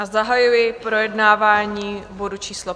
A zahajuji projednávání bodu číslo